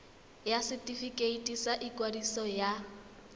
ya setefikeiti sa ikwadiso ya